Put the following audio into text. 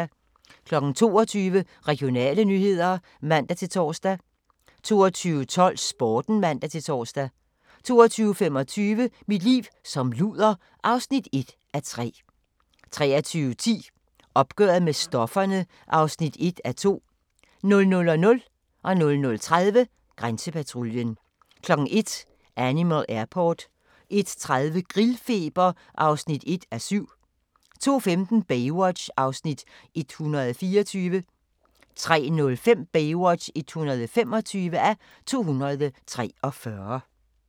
22:00: Regionale nyheder (man-tor) 22:12: Sporten (man-tor) 22:25: Mit liv som luder (1:3) 23:10: Opgøret med stofferne (1:2) 00:00: Grænsepatruljen 00:30: Grænsepatruljen 01:00: Animal Airport 01:30: Grillfeber (1:7) 02:15: Baywatch (124:243) 03:05: Baywatch (125:243)